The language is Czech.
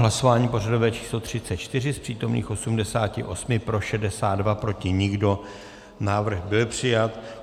Hlasování pořadové číslo 34, z přítomných 88 pro 62, proti nikdo, návrh byl přijat.